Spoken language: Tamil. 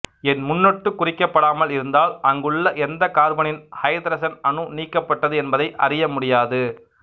என் முன்னொட்டு குறிக்கப்படாமல் இருந்தால் அங்குள்ள எந்த கார்பனின் ஐதரசன் அணு நீக்கப்பட்டது என்பதை அறியமுடியாது